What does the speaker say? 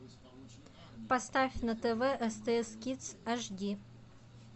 поставь на тв стс кидс аш ди